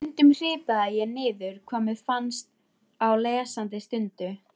Stundum hripaði ég niður hvað mér fannst á lesandi stundu.